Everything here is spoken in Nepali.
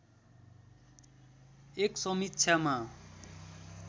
एक समीक्षामा